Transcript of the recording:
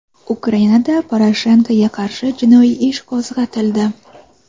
Ukrainada Poroshenkoga qarshi jinoiy ish qo‘zg‘atildi.